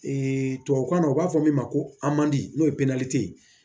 tubabukan na u b'a fɔ min ma ko n'o ye ye